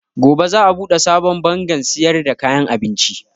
Gobe za a buɗe sabon bangarrn siyar da kayan abinci.